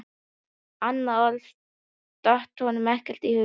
Annað orð datt honum ekki í hug.